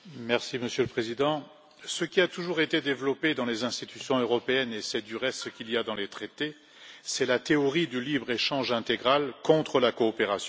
Monsieur le Président, ce qui a toujours été développé dans les institutions européennes et c'est du reste ce qu'il y a dans les traités c'est la théorie du libre échange intégral contre la coopération.